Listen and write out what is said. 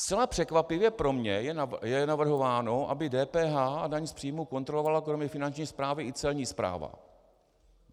Zcela překvapivě pro mě je navrhováno, aby DPH a daň z příjmů kontrolovala kromě Finanční správy i Celní správa.